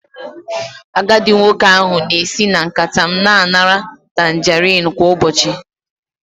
Agadi nwoke ahụ na-esi na nkata m na-anara tangarin kwa ụbọchị